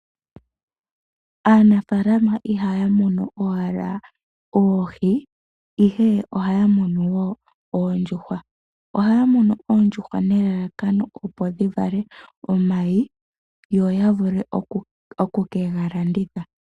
Aanafaalama ihaya munu owala oohi ihe ohaya munu woo oondjuhwa. Ohaya munu oondjuhwa nelalakano opo dhi vale omayi yo ya vule oku ke ga landitha.